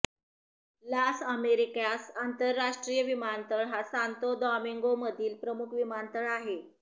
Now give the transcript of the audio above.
लास Americas आंतरराष्ट्रीय विमानतळ हा सांतो दॉमिंगोमधील प्रमुख विमानतळ आहे